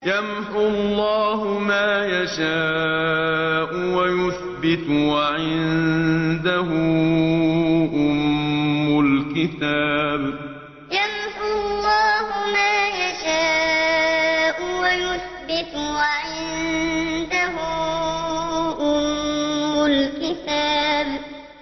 يَمْحُو اللَّهُ مَا يَشَاءُ وَيُثْبِتُ ۖ وَعِندَهُ أُمُّ الْكِتَابِ يَمْحُو اللَّهُ مَا يَشَاءُ وَيُثْبِتُ ۖ وَعِندَهُ أُمُّ الْكِتَابِ